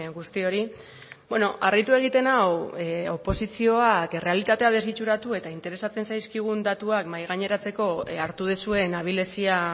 guztiori harritu egiten nau oposizioa errealitatea desitxuratu eta interesatzen zaizkigun datuak mahai gaineratzeko hartu duzuen abilezia